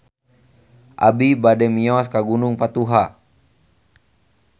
Abi bade mios ka Gunung Patuha